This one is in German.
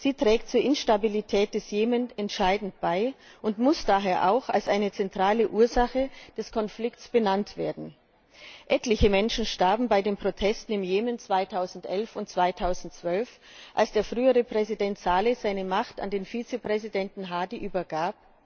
Sie trägt zur Instabilität des Jemen entscheidend bei und muss daher auch als eine zentrale Ursache des Konflikts benannt werden. Etliche Menschen starben bei den Protesten im Jemen 2011 und 2012, als der frühere Präsident Salih seine Macht an den Vizepräsidenten Hadi übergab.